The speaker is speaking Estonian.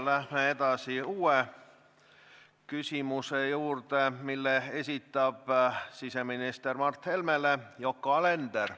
Läheme järgmise küsimuse juurde, mille esitab siseminister Mart Helmele Yoko Alender.